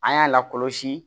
An y'a lakɔlɔsi